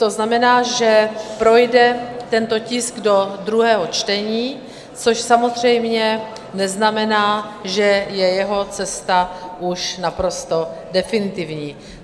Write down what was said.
To znamená, že projde tento tisk do druhého čtení, což samozřejmě neznamená, že je jeho cesta už naprosto definitivní.